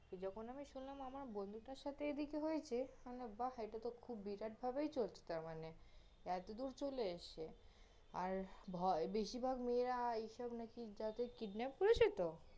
যখন আমি শুনলাম আমার বন্ধুটার সাথে এদিকে হয়েছে, বাহ খুব বিরাট ভাবেই চলছে তারমানে, এতদূর চলে এসছে, আর ভয়~ বেশীরভাগ মেয়েরা আর এইসব নাকি যাদের kidnap করেছে তহ